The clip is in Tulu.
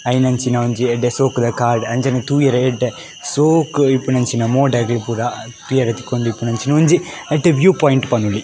ಐನಂಚಿನ ಒಂಜಿ ಎಡ್ಡೆ ಶೋಕುದ ಕಾರ್ಡ್ ಅಂಚನೆ ತೂಯರೆ ಎಡ್ಡೆ ಸೋಕು ಇಪ್ಪುನಂಚಿನ ಮೋಡ ಆದಿಪ್ಪುಗ ತೂಯರೆ ತಿಕ್ಕೊಂದಿಪ್ಪುನಂಚಿನ ಒಂಜಿ ಎಡ್ಡೆ ವೀವ್ ಪೋಯಿಂಟ್ ಪನೊಲಿ.